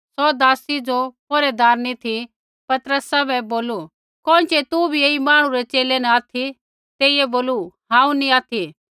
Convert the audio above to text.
सौ दासी ज़ो पौहरी ती पतरसा बै बोलू कोइँछ़ै तू भी ऐई मांहणु रै च़ेले न ऑथि तेइयै बोलू हांऊँ नी ऑथि